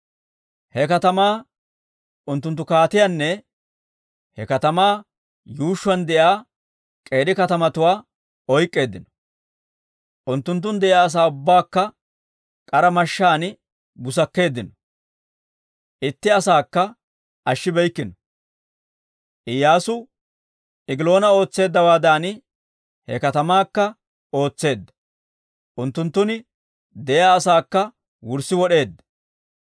He katamaa, unttunttu kaatiyaanne he katamaa yuushshuwaan de'iyaa k'eeri katamatuwaa oyk'k'eeddino. Unttunttun de'iyaa asaa ubbaakka k'ara mashshaan busakkeeddino. Itti asaakka ashshibeykkino. Iyyaasu Egiloona ootseeddawaadan he katamaakka ootseedda; unttunttun de'iyaa asaakka wurssi wod'eedda.